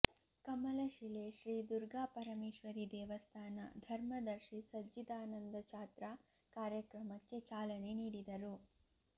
ಕಮಲಶಿಲೆ ಶ್ರೀ ದುರ್ಗಾಪರಮೇಶ್ವರಿ ದೇವಸ್ಥಾನ ಧರ್ಮದರ್ಶಿ ಸಜ್ಜಿದಾನಂದ ಚಾತ್ರ ಕಾರ್ಯಕ್ರಮಕ್ಕೆ ಚಾಲನೆ ನೀಡಿದರು